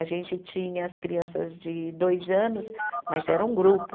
A gente tinha as crianças de dois anos, mas era um grupo,